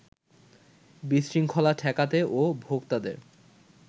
বিশৃঙ্খলা ঠেকাতে ও ভোক্তাদের